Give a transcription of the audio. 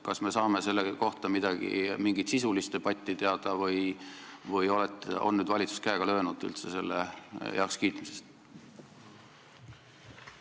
Kas selle kohta tuleb mingi sisuline debatt või on valitsus üldse käega löönud selle heakskiitmisele?